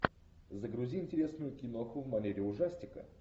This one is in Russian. загрузи интересную киноху в манере ужастика